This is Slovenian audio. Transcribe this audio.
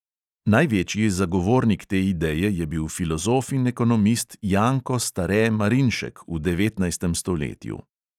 Največji zagovornik te ideje je bil filozof in ekonomist janko stare marinšek v devetnajstem stoletju.